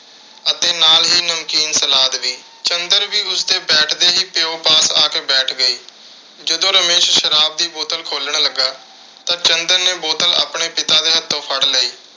ਅਤੇ ਨਾਲ ਹੀ ਨਮਕੀਨ salad ਵੀ। ਚੰਦਰ ਵੀ ਉਸਦੇ ਬੈਠ ਦੇ ਹੀ, ਪਿਓ ਪਾਸ ਆ ਕੇ ਬੈਠ ਗਈ। ਜਦੋਂ ਰਮੇਸ਼ ਸ਼ਰਾਬ ਦੀ ਬੋਤਲ ਖੋਲ੍ਹਣ ਲੱਗਾ ਤਾਂ ਚੰਦਰ ਨੇ ਬੋਤਲ ਆਪਣੇ ਪਿਤਾ ਦੇ ਹੱਥੋਂ ਫੜ ਲਈ।